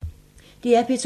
DR P2